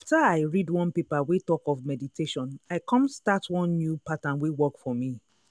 after i read one paper wey talk of meditation i come start one new pattern wey work for me.